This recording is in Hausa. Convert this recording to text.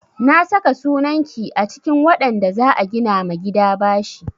Na saka sunan ki a cikin waɗanda za a gina ma gida bashi.